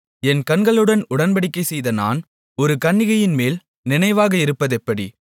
என் கண்களுடன் உடன்படிக்கைசெய்த நான் ஒரு கன்னிகையின்மேல் நினைவாக இருப்பதெப்படி